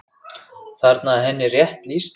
Þarna er henni rétt lýst.